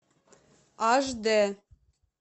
аш дэ